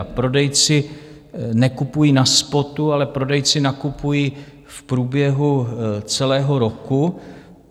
A prodejci nekupují na spotu, ale prodejci nakupují v průběhu celého roku.